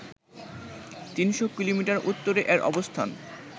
৩শ’ kilometre উত্তরে এর অবস্থান